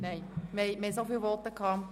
– Das ist nicht der Fall.